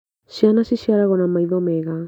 Ciana ciciaragwo na maitho mega